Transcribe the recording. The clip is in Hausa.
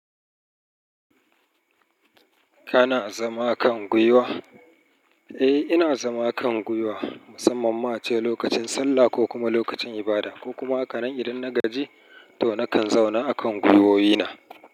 Kana zama a kan guiwa? Eh ina zama a kan guiwa musamman ma ace lokacin sallah ko kuma lokacin ibada ko kuma a kanin idan na gaji to nakan zauna a kan guiwowi na.